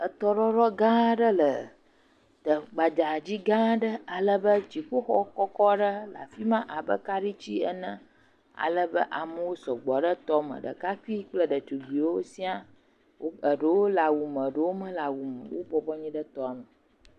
Etɔɖɔɖɔ gã aɖe le te gbadzadi gã aɖe ale be dziƒoxɔ kɔkɔ aɖe hã le afi ma abe kaɖitsi ene. Ale be amewo sɔgbɔ ɖe tɔ me. Ɖekakpui kple ɖetugbiwo sia wo eɖewo le awu me eɖewo mele awu me o. Wobɔbɔ anyi ɖe tɔa me.